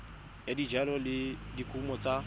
ya dijalo le dikumo tsa